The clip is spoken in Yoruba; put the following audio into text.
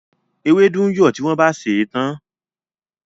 Ewédú ń yọ̀ tí wọ́n bá sèé tán.